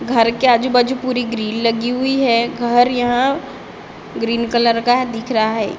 घर के आजूबाजू पूरी ग्रील लगी हुई है घर यहाँ ग्रीन कलर का दिख रहा है--